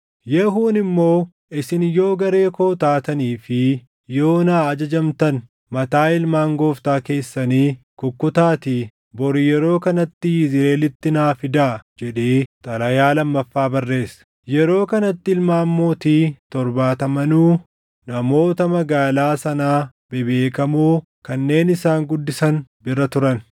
Yehuun immoo, “Isin yoo garee koo taatanii fi yoo naa ajajamtan, mataa ilmaan gooftaa keessanii kukkutaatii bori yeroo kanatti Yizriʼeelitti naa fidaa” jedhee xalayaa lammaffaa barreesse. Yeroo kanatti ilmaan mootii torbaatamanuu namoota magaalaa sanaa bebeekamoo kanneen isaan guddisan bira turan.